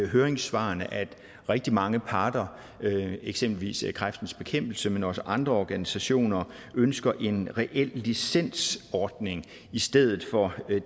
høringssvarene at rigtig mange parter eksempelvis kræftens bekæmpelse men også andre organisationer ønsker en reel licensordning i stedet for